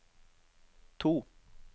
to